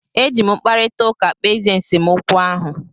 E ji m mkparịta ụka kpezie nsemokwu ahụ.